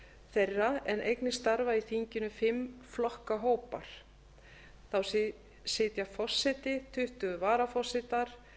þeirra en einnig starfa í þinginu fimm flokkahópar þá sitja forseti tuttugu varaforsetar